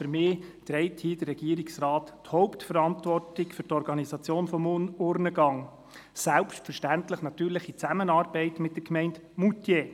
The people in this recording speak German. Für mich trägt hier der Regierungsrat die Hauptverantwortung für die Organisation des Urnengangs, selbstverständlich in Zusammenarbeit mit der Gemeinde Moutier.